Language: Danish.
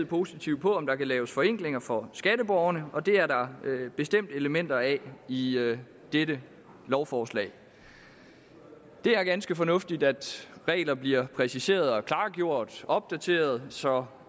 positivt på om der kan laves forenklinger for skatteborgerne og det er der bestemt elementer af i dette lovforslag det er ganske fornuftigt at regler bliver præciseret klargjort og opdateret så